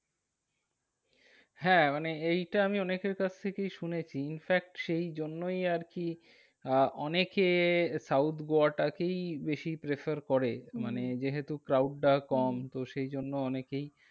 হ্যাঁ মানে এইটা আমি অনেকের কাছ থেকেই শুনেছি, infact সেই জন্যই আরকি আহ অনেকে south গোয়াটাকেই বেশি prefer করে। হম মানে যেহেতু crowd টা কম হম তো সেই জন্য অনেকেই